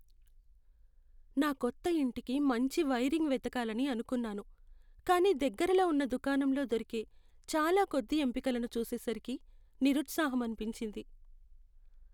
నా కొత్త ఇంటికి మంచి వైరింగ్ వెతకాలని అనుకున్నాను, కానీ దగ్గరలో ఉన్న దుకాణంలో దొరికే చాలా కొద్ది ఎంపికలను చూసేసరికి నిరుత్సాహమనిపించింది.